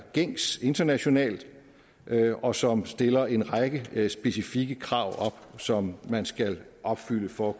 gængs internationalt og som stiller en række specifikke krav op som man skal opfylde for